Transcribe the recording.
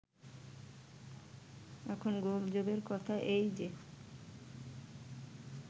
এখন গোলযোগের কথা এই যে